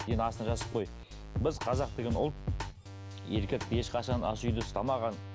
енді астына жазып қой біз қазақ деген ұлт еркекті ешқашан ас үйде ұстамаған